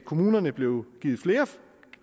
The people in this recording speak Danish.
kommunerne blev